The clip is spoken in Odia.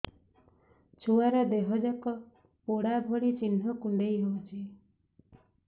ଛୁଆର ଦିହ ଯାକ ପୋଡା ଭଳି ଚି଼ହ୍ନ କୁଣ୍ଡେଇ ହଉଛି